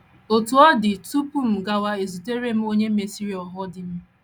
Otú ọ dị, tupu m gawa ezutere m onye mesịrị ghọọ di m.